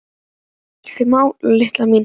Það kemur ekki til mála, Lilla mín.